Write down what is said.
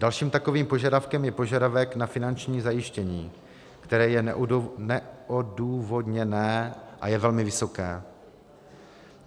Dalším takovým požadavkem je požadavek na finanční zajištění, které je neodůvodněné a je velmi vysoké.